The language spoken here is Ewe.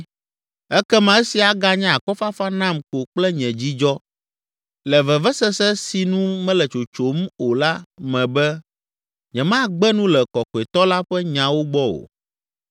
Ekema esia aganye akɔfafa nam ko kple nye dzidzɔ le vevesese si nu mele tsotsom o la me be, nyemagbe nu le Kɔkɔetɔ la ƒe nyawo gbɔ o.